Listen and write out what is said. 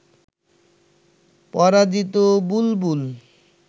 পরাজিত বুলবুল